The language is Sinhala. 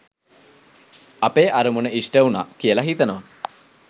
අපේ අරමුණ ඉෂ්ට උණා කියල හිතනවා.